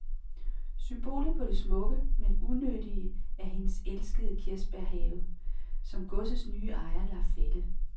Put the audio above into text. Symbolet på det smukke, men unyttige, er hendes elskede kirsebærhave, som godsets nye ejer lader fælde.